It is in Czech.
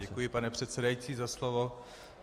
Děkuji, pane předsedající, za slovo.